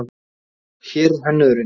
Hér er hönnuðurinn.